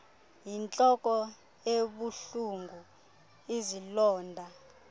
yintloko ebuhlungu izilonda